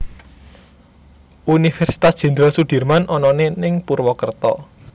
Universitas Jendral Sudirman onone ning Purwokerto